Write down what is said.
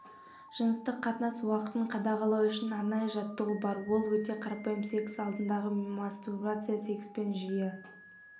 жыныстық қатынас уақытын қадағалау үшін арнайы жаттығу бар ол өте қарапайым секс алдындағы мастурбация секспен жиі